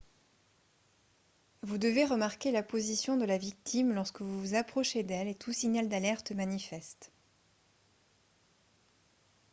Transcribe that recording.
vous devez remarquer la position de la victime lorsque vous vous approchez d'elle et tout signal d'alerte manifeste